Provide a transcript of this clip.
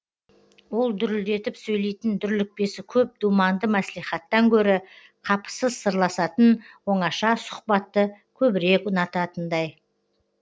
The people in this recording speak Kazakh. ол дүрілдетіп сөйлейтін дүрлікпесі көп думанды мәслихаттан гөрі қапысыз сырласатын оңаша сұхбатты көбірек ұнататындай